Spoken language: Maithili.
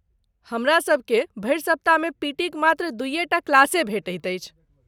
हमरा सभकेँ भरि सप्ताहमे पीटीक मात्र दूइये टा क्लासे भेटति अछि।